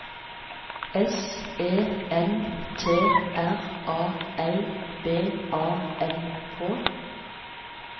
S E N T R A L B A N K